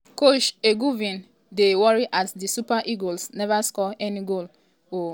coach eguavoen dy worry as di super eagles neva score any goal ooo wetin go be im fate now.